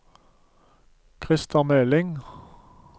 Krister Meling